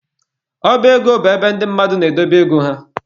Ọba ego bụ ebe ndị mmadụ na-edobe ego ha.